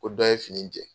Ko dɔ ye fini jɛ